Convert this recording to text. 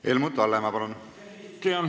Helmut Hallemaa, palun!